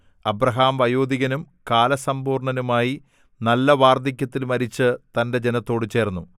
Abraham വയോധികനും കാലസമ്പൂർണ്ണനുമായി നല്ല വാർദ്ധക്യത്തിൽ മരിച്ചു തന്റെ ജനത്തോടു ചേർന്നു